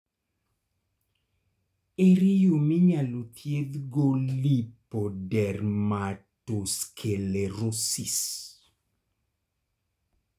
ere yoo minyalo dhiedh go lipodermatosclerosis?